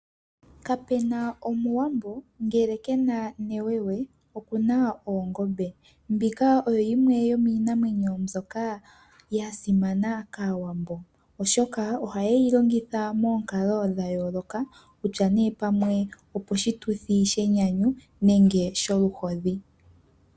Kapena Omuwambo ngele kena newewe okuna oongombe mbika oyo yimwe yo miinamwenyo mbyoka ya simana kAawambo oshoka ohaye yi longitha moonkalo dha yooloka kutya nee pamwe oposhituthi shenyanyu nenge sholuhodhi.